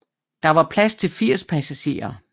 Der var plads til 80 passagerer